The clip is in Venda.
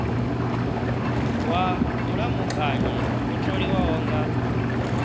wa vhulamukanyi o tholiwaho nga